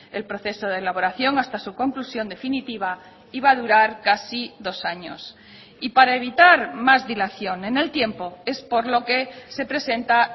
el proceso de elaboración hasta su conclusión definitiva iba a durar casi dos años y para evitar más dilación en el tiempo es por lo que se presenta